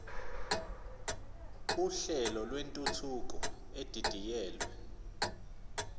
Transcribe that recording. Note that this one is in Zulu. uhlelo lwentuthuko edidiyelwe